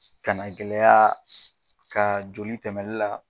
Kanagɛlɛyaa kaa joli tɛmɛli la